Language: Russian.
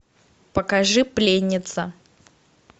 покажи пленница